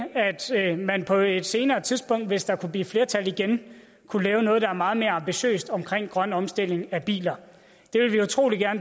at man på et senere tidspunkt hvis der kunne blive flertal igen kunne lave noget der er meget mere ambitiøst om grøn omstilling af biler